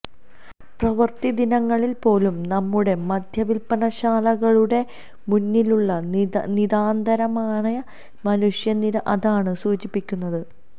പ്രവൃത്തിദിനങ്ങളില് പോലും നമ്മുടെ മദ്യവില്പനശാലകളുടെ മുന്നിലുള്ള നിതാന്തമായ മനുഷ്യനിര അതാണ് സൂചിപ്പിക്കുന്നത്